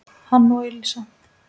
hann og Elísa.